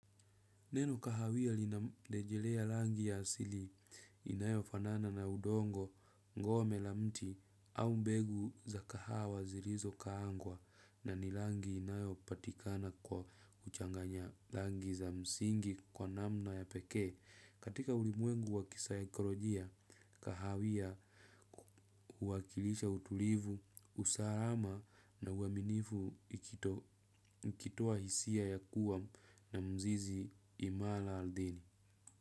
Neno kahawia linarejelea langi ya asili inayofanana na udongo ngome la mti au mbegu za kahawa zilizokaangwa na ni rangi inayopatikana kwa kuchanganya rangi za msingi kwa namna ya pekee. Katika ulimwengu wa kisaikolojia kahawia huwakilisha utulivu, usalama na uaminifu ikitoa hisia ya kuwa na mzizi imara ardhini.